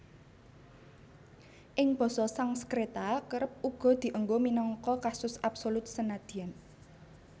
Ing Basa Sangskreta kerep uga dienggo minangka kasus absolut senadyan